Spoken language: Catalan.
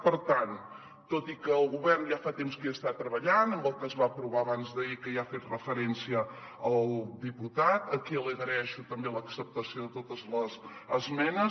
per tant tot i que el govern ja fa temps que hi està treballant amb el que es va aprovar abans d’ahir que hi ha fet referència el diputat a qui li agraeixo també l’acceptació de totes les esmenes